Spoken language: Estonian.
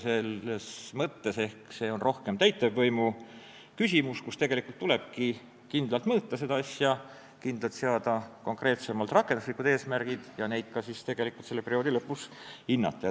Selles mõttes on see ehk rohkem täitevvõimu küsimus, tegelikult tulebki seda asja kindlalt mõõta, kindlalt seada konkreetsemad rakenduslikud eesmärgid ja neid siis ka perioodi lõpus hinnata.